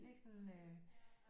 Ikke sådan øh